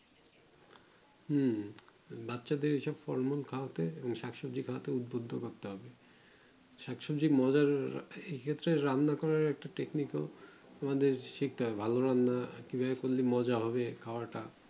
হুম বাচ্চা দের এইরম ফল মূল খাওয়াতে শাক সবজি খাওয়াতে উৎবিত্ত করতে হবে শাক সবজির রান্না করে একটু টেকনিকে ভালো রান্না কি ভাবে করলে মজা হবে